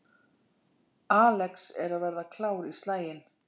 Alex að verða klár í slaginn